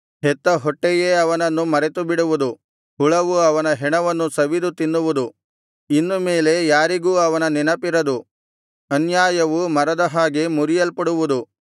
ಹೆತ್ತ ಹೊಟ್ಟೆಯೇ ಅವನನ್ನು ಮರೆತುಬಿಡುವುದು ಹುಳವು ಅವನ ಹೆಣವನ್ನು ಸವಿದು ತಿನ್ನುವುದು ಇನ್ನು ಮೇಲೆ ಯಾರಿಗೂ ಅವನ ನೆನಪಿರದು ಅನ್ಯಾಯವು ಮರದ ಹಾಗೆ ಮುರಿಯಲ್ಪಡುವುದು